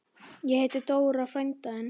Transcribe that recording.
Ég hitti Dóra frænda þinn.